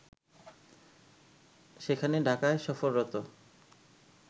সেখানে ঢাকায় সফররত